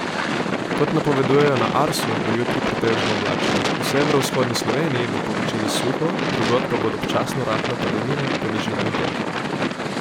Kot napovedujejo na Arsu, bo jutri pretežno oblačno, v severovzhodni Sloveniji bo povečini suho, drugod pa bodo občasno rahle padavine, po nižinah dež.